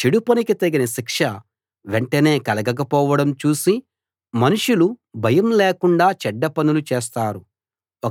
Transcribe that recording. చెడు పనికి తగిన శిక్ష వెంటనే కలగకపోవడం చూసి మనుషులు భయం లేకుండా చెడ్డ పనులు చేస్తారు